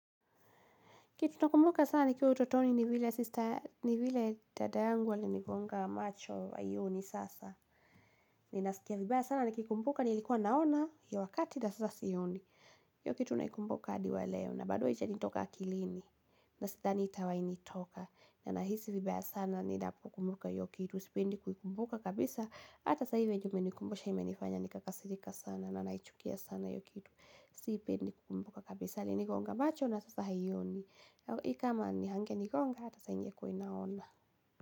Kitu nakumbuka sana nikiwa utotoni ni vile sister ni vile dada yangu alinigonga macho haioni sasa. Ninasikia vibaya sana nikikumbuka nilikuwa naona hio wakati na sasa sioni. Hio kitu naikumbuka hadi wa leo na bado haijanitoka akilini na sidhani itawahi nitoka. Na ninahisi vibaya sana ninapokumbuka hiyo kitu sipendi kukumbuka kabisa. Ata sasa hivi ju umenikumbusha imenifanya nikakasirika sana na naichukia sana hiyo kitu sipendi kukumbuka kabisa. Alinigonga macho na sasa haioni ni kama hangenigonga ata saa hii ingekuwa inaona.